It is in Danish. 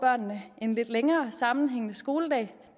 en lidt længere sammenhængende skoledag det